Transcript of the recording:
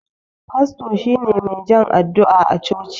Fasto shine mai jan addu'a a coci.